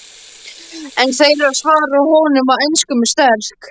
Einn þeirra svarar honum á ensku með sterk